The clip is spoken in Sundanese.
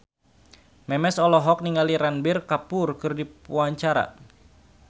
Memes olohok ningali Ranbir Kapoor keur diwawancara